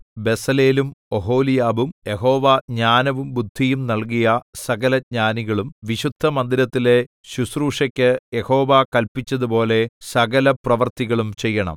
ബെസലേലും ഒഹൊലിയാബും യഹോവ ജ്ഞാനവും ബുദ്ധിയും നല്കിയ സകലജ്ഞാനികളും വിശുദ്ധമന്ദിരത്തിലെ ശുശ്രൂഷയ്ക്ക് യഹോവ കല്പിച്ചതുപോലെ സകലപ്രവൃത്തികളും ചെയ്യണം